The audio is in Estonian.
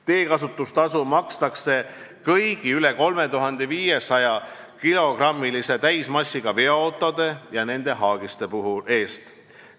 Teekasutustasu makstakse kõigi üle 3500-kilogrammise täismassiga veoautode ja nende haagiste eest.